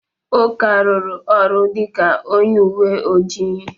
Uka rụrụ ọrụ dịka onye uwe ojii.